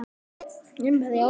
Jæja, verð að rjúka.